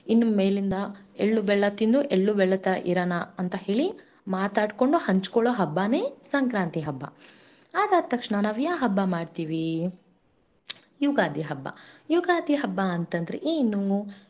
ಇನ್ಮೇಲಿಂದ ಎಳ್ಳು-ಬೆಲ್ಲ ತಿಂದು ಎಳ್ಳು-ಬೆಲ್ಲ ತರ ಇರೋಣ ಅಂತ ಹೇಳಿಮಾತಾಡಿ ಕೊಂಡು ಹಂಚಿಕೊಳ್ಳ ಹಬ್ಬನೇ ಸಂಕ್ರಾಂತಿ ಹಬ್ಬ ಅದಾದ ತಕ್ಷಣ ನಾವ್ ಯಾ ಹಬ್ಬ ಮಾಡ್ತೀವಿ, ಯುಗಾದಿ ಹಬ್ಬ ಯುಗಾದಿ ಹಬ್ಬ ಅಂತಂದ್ರೆ ಏನು.